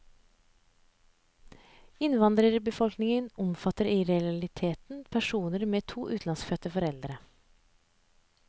Innvandrerbefolkningen omfatter i realiteten personer med to utenlandsfødte foreldre.